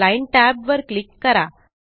line tab वर click करा